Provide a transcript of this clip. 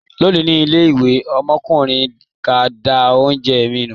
Lónìí, ní ilé-ìwé, ọmọkùnrin kan dá oúnjẹ mi nù.